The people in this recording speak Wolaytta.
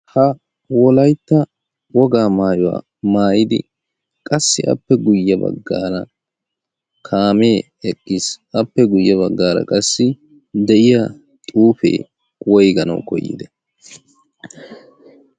ha wolaytta wogaa maayuwaa maayidi qassi appe guyye baggaara kaamee eqqiis appe guyye baggaara qassi de'iya xuufee woyganawu koyiide